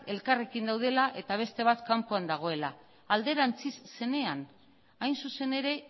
elkarrekin daudela eta beste bat kanpoan dagoela alderantziz zenean hain zuzen ere